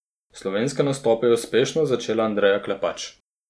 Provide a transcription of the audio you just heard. Slovenske nastope je uspešno začela Andreja Klepač.